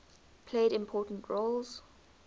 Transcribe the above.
played important roles